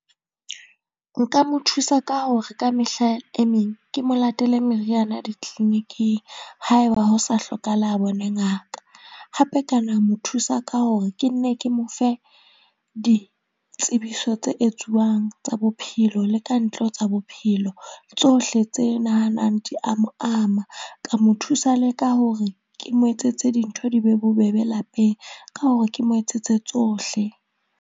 Nka mo thusa ka hore ka mehla e meng ke mo latele meriana di-clinic-ing haeba ho sa hlokahala a bone ngaka. Hape ka na mo thusa ka hore ke nne ke mo fe ditsebiso tse etsuwang tsa bophelo le ka ntle ho tsa bophelo. Tsohle tse nahanang di a mo ama, ka mo thusa le ka hore ke mo etsetse dintho di be bobebe lapeng ka hore ke mo etsetse tsohle.